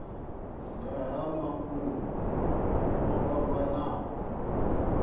nga ha mafhungo o fhambanaho